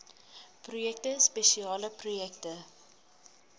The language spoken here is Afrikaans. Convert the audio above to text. projekte spesiale projekte